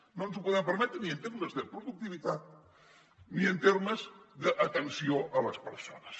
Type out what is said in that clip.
no ens ho podem permetre ni en termes de productivitat ni en termes d’atenció a les persones